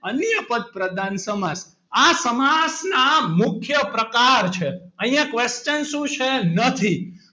અન્ય પદ પ્રધાન સમાસ આ સમાજના મુખ્ય પ્રકાર છે અહીંયા question શું છે નથી?